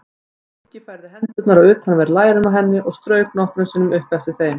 Nikki færði hendurnar á utanverð lærin á henni og strauk nokkrum sinnum upp eftir þeim.